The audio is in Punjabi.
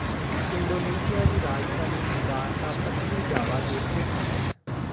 ਇੰਡੋਨੇਸ਼ੀਆ ਦੀ ਰਾਜਧਾਨੀ ਜਕਾਰਤਾ ਪੱਛਮੀ ਜਾਵਾ ਤੇ ਸਥਿਤ ਹੈ